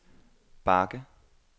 bakke